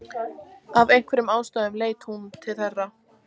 Af einhverjum ástæðum leiti hún þeirra.